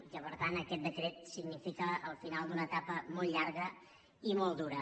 i que per tant aquest decret significa el final d’una etapa molt llarga i molt dura